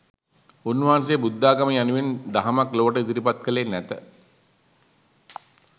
උන්වහන්සේ බුද්ධාගම යනුවෙන් දහමක් ලොවට ඉදිරිපත්කළේ නැත